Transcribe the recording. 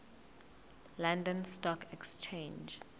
london stock exchange